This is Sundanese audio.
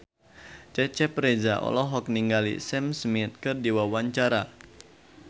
Cecep Reza olohok ningali Sam Smith keur diwawancara